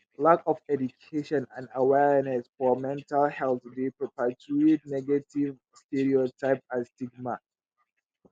lack of education and awarneness for mental health dey perpetuate negative stereotype and stigam.